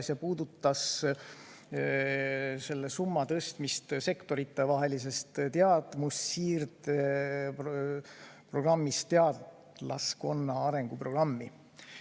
Küsimus puudutas selle summa tõstmist sektoritevahelisest teadmussiirdeprogrammist teadlaskonna arenguprogrammi.